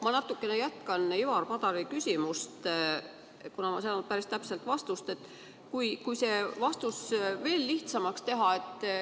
Ma natukene jätkan Ivari Padari küsimust, kuna ma ei saanud päris täpset vastust, ja püüan seda veel lihtsamaks teha.